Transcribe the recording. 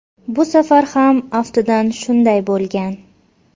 Bu safar ham, aftidan, shunday bo‘lgan.